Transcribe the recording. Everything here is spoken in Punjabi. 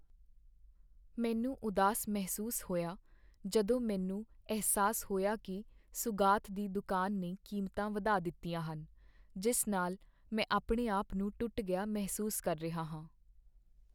ਮੈਨੂੰ ਉਦਾਸ ਮਹਿਸੂਸ ਹੋਇਆ ਜਦੋਂ ਮੈਨੂੰ ਅਹਿਸਾਸ ਹੋਇਆ ਕੀ ਸੁਗਾਤ ਦੀ ਦੁਕਾਨ ਨੇ ਕੀਮਤਾਂ ਵਧਾ ਦਿੱਤੀਆਂ ਹਨ, ਜਿਸ ਨਾਲ ਮੈਂ ਆਪਣੇ ਆਪ ਨੂੰ ਟੁੱਟ ਗਿਆ ਮਹਿਸੂਸ ਕਰ ਰਿਹਾ ਹਾਂ।